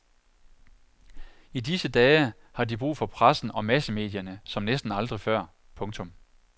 I disse dage har de brug for pressen og massemedierne som næsten aldrig før. punktum